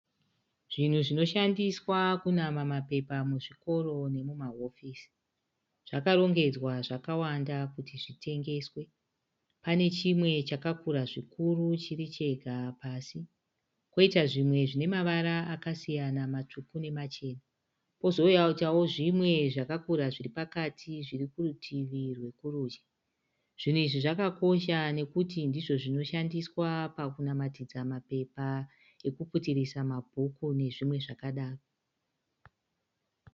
Zvinhu zvinoshandiswa kunama mapepa muzvikoro nemumahofisi. Zvakarongedzwa zvakawanda kuti zvitengeswe. Pane chimwe chakura zvikuru chiri chega pasi koitawo zvimwe zvine mavara akasiyana matsvuku nemachena. Poitawo zvimwe zvakakura zviri kurutivi rwokurudyi. Zvinhu izvi zvakakosha nokuti ndizvo zvinoshansiswa namatidza mapepa ekuputirisa mabhuku nezvimwewo.